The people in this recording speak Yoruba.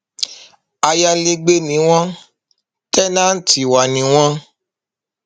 ayalégbé ni wọn tẹńtì wa ni wọn